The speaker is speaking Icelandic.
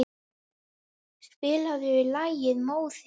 Víf, spilaðu lagið „Móðir“.